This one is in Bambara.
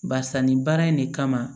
Barisa nin baara in de kama